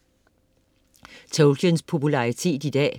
Tolkiens popularitet i dag